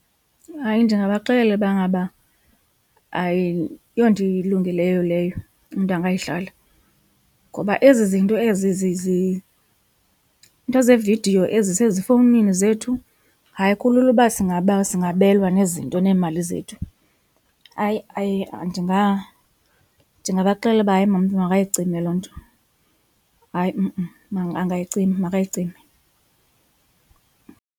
Hayi, ndingabaxelela uba ngaba ayonto ilungileyo leyo umntu angayidlala ngoba ezi zinto ezi iinto zeevidiyo ezisezifowunini zethu hayi kulula uba singabelwa nezinto neemali zethu. Hayi, hayi ndingabaxelela uba hayi ba umntu makayicime loo nto hayi angayicima makayicime.